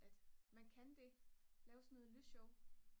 at man kan det lave sådan noget lysshow